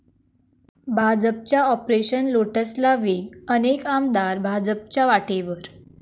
भाजपच्या 'ऑपरेशन लोटस'ला वेग, अनेक आमदार भाजपच्या वाटेवर